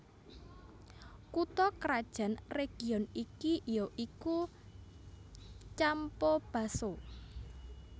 Kutha krajan region iki ya iku Campobasso